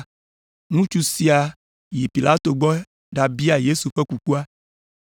Ŋutsu sia yi Pilato gbɔ ɖabia Yesu ƒe kukua.